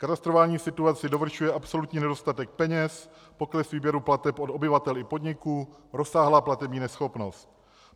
Katastrofální situaci dovršuje absolutní nedostatek peněz, pokles výběru plateb od obyvatel i podniků, rozsáhlá platební neschopnost.